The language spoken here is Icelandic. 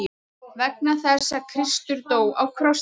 Vegna þess að Kristur dó á krossi.